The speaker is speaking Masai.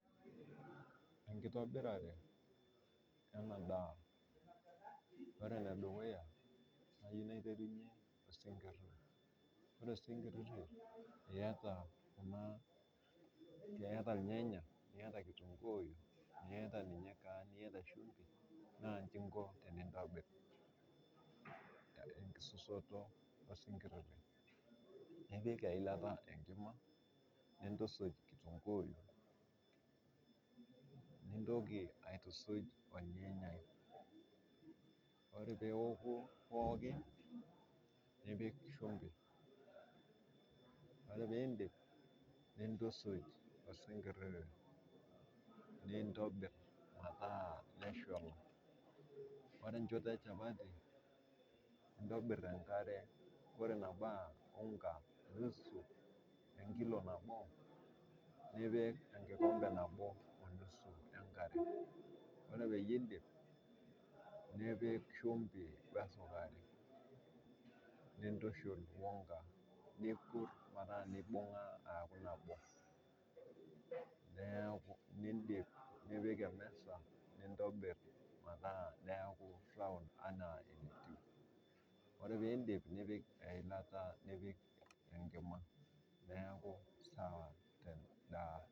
Enkitoirare ena daa, ore ne dukuya nayeu naiterunye osinkiriti, ore osinkiriti ieta kuna ieta ilnyanya, nieta nkitunguuyu, nieta ninye shumbi naa inchi inko tenintobir, nkisusuto osinkiri, nipik eilata enkima, nintusuj nkitunguuyu, nintoki aitusuj olnyanya, ore peoku pookin nipik shumbi, ore piindip nintusuj osinkiriti, nintobir metaa nashonol, ore enchoto enchapati intobir enkare ore nebaa unga nusu] oo nkilo nabo nipik enkikombe nabo onusu enkare, ore peyie iindip nipik shumbi osukari, nintushul onga nikur mpaka neibunga neaku nabo, neaku nindip nipik emesa nintobir metaa neaku round enaa entuib, ore piindip nipik eilata, nipik enkima, neaku sawa te indaa.